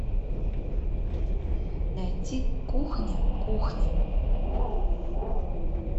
найти кухня кухни